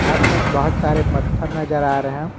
आसपास बहोत सारे पत्थर नजर आ रहे हैं।